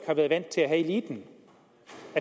har været vant til at have eliten